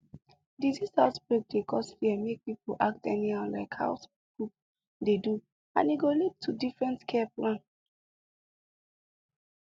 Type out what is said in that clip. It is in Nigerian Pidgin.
disease outbreak dey cause fear make people act anyhow like how some groups dey do and e go lead to different care plan